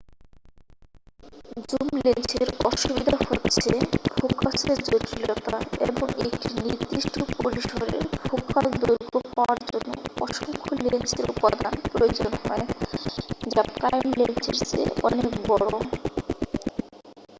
zoom লেন্সের অসুবিধা হচ্ছে ফোকাসের জটিলতা এবং একটি নির্দিষ্ট পরিসরের ফোকাল দৈর্ঘ্য পাওয়ার জন্য অসংখ্য লেন্সের উপাদান প্রয়োজন হয় যা প্রাইম লেন্সের চেয়ে অনেক বড়